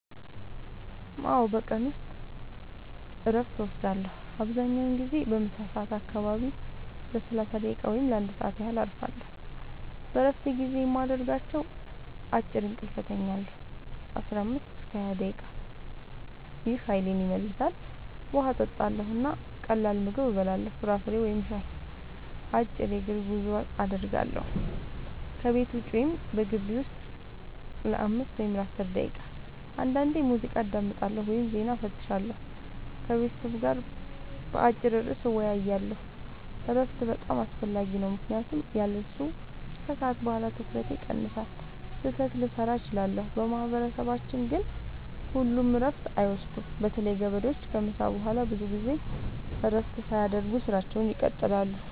አዎ፣ በቀን ውስጥ እረፍት እወስዳለሁ። አብዛኛውን ጊዜ በምሳ ሰዓት አካባቢ ለ30 ደቂቃ ወይም ለ1 ሰዓት ያህል እረፋለሁ። በእረፍት ጊዜዬ የማደርጋቸው፦ · አጭር እንቅልፍ እተኛለሁ (15-20 ደቂቃ) – ይህ ኃይሌን ይመልሳል። · ውሃ እጠጣለሁ እና ቀላል ምግብ እበላለሁ (ፍራፍሬ ወይም ሻይ)። · አጭር የእግር ጉዞ አደርጋለሁ – ከቤት ውጭ ወይም በግቢው ውስጥ ለ5-10 ደቂቃ። · አንዳንዴ ሙዚቃ አዳምጣለሁ ወይም ዜና እፈትሻለሁ። · ከቤተሰብ ጋር በአጭር ርዕስ እወያያለሁ። እረፍት በጣም አስፈላጊ ነው ምክንያቱም ያለሱ ከሰዓት በኋላ ትኩረቴ ይቀንሳል፣ ስህተት ልሠራ እችላለሁ። በማህበረሰባችን ግን ሁሉም እረፍት አይወስዱም – በተለይ ገበሬዎች ከምሳ በኋላ ብዙ ጊዜ እረፍት ሳያደርጉ ሥራቸውን ይቀጥላሉ።